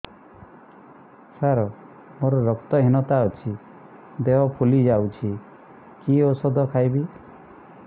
ସାର ମୋର ରକ୍ତ ହିନତା ଅଛି ଦେହ ଫୁଲି ଯାଉଛି କି ଓଷଦ ଖାଇବି